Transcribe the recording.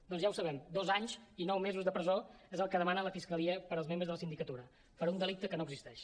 doncs ja ho sabem dos anys i nou mesos de presó és el que demana la fiscalia per als membres de la sindicatura per un delicte que no existeix